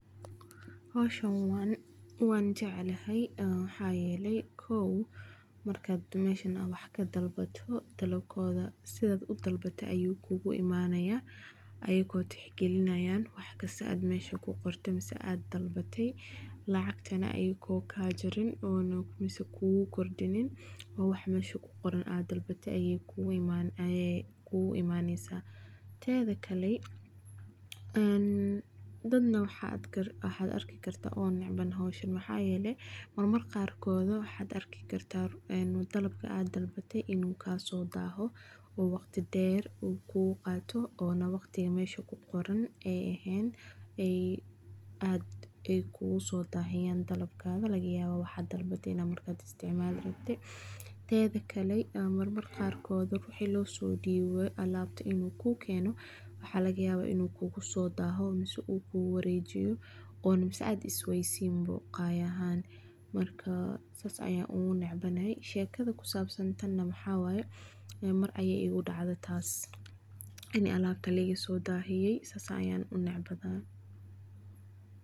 Howshan waan jeclahay waxaa yeele dalabkooda sidaad udalbate ayeey kuu kenayan, teeda kale dad waxaad arki kartaa nacban howshan waxaa yeele waxaa dici kartaa inuu kugu soo daaho, mararka qaar waxaa laga yaaba inuu kugu soo daaho, shekada ku sabsan waxaa waye mar ayeey igu dacde in alaabta liiga soo dahiye saan ayaan unecbahay.